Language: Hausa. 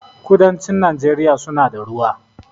kudancin nageria suna da ruwa